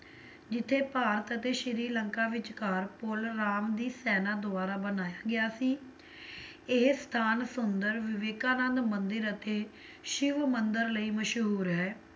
ਜਿਥੇ ਭਾਰਤ ਅਤੇ ਸ਼੍ਰੀ ਲੰਕਾ ਵਿੱਚਕਾਰ ਪੁੱਲ ਰਾਮ ਦੀ ਸੈਨਾ ਦੁਆਰਾ ਬਣਾਇਆ ਗਿਆ ਸੀ, ਇਹ ਸਥਾਨ ਸੁੰਦਰ ਵਿਵੇਕਾਂ ਨਾਲ ਮੰਦਿਰ ਅਤੇ ਸ਼ਿਵ ਮੰਦਿਰ ਲਈ ਮਸ਼ਹੂਰ ਹੈ,